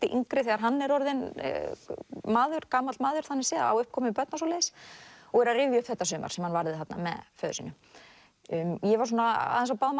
yngri þegar hann er orðinn maður gamall maður þannig séð á uppkomin börn og svoleiðis og er að rifja upp þetta sumar sem hann varði þarna með föður sínum ég var svona aðeins á báðum